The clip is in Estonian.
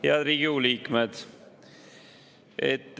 Head Riigikogu liikmed!